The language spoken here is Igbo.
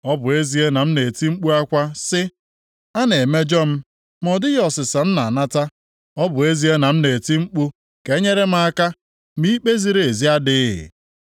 “Ọ bụ ezie na m na-eti mkpu akwa sị: ‘A na-emejọ m.’ Ma ọ dịghị ọsịsa m na-anata; ọ bụ ezie na m na-eti mkpu ka e nyere m aka ma ikpe ziri ezi adịghị.